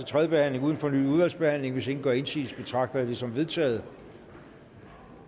tredje behandling uden fornyet udvalgsbehandling hvis ingen gør indsigelse betragter jeg det som vedtaget